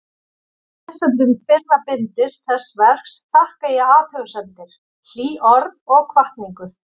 Lesendum fyrra bindis þessa verks þakka ég athugasemdir, hlý orð og hvatningu.